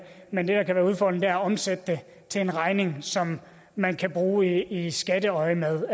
men det der kan udfordring er at omsætte det til en regning som man kan bruge i skatteøjemed